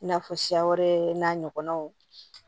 I n'a fɔ siya wɛrɛ n'a ɲɔgɔnnaw